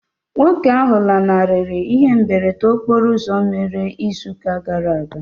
Nwoke ahụ lanarịrị ihe mberede okporo ụzọ mere ịzụ ụka gara aga.